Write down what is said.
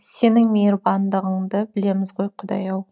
сенің мейірбандығыңды білеміз ғой құдай ау